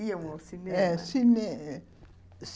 Iam ao cinema? é cine